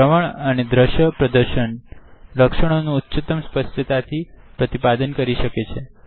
શ્રવણ અને દ્રશ્ય પ્રદશન દ્રશ્યોનું ઉચ્ચ્તાથી પ્રતિપાદન કરે છે